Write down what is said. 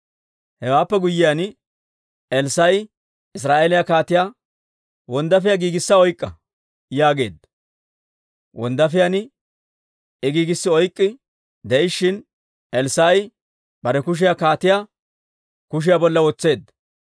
Hewaappe guyyiyaan, Elssaa'i Israa'eeliyaa kaatiyaa, «Wonddaafiyaa giigissa oyk'k'a» yaageedda; wonddaafiyaan I giigissi oyk'k'i de'ishshin, Elssaa'i bare kushiyaa kaatiyaa kushiyaa bolla wotseedda.